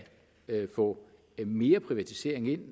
få mere privatisering ind